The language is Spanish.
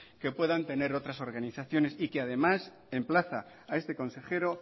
que puedan tener otras organizaciones y que además emplaza a este consejero